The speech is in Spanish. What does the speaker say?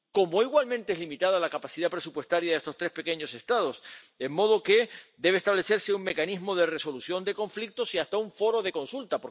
Como igualmente es limitada la capacidad presupuestaria de estos tres pequeños Estados, de modo que debe establecerse un mecanismo de resolución de conflictos y hasta un foro de consulta.